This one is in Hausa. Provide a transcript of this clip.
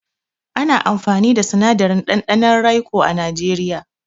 Ana amfani da sinadarin ɗanɗanon raico a najeriya.